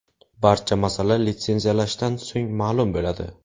Barcha masala litsenziyalashdan so‘ng ma’lum bo‘ladi.